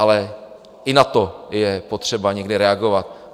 Ale i na to je potřeba někdy reagovat.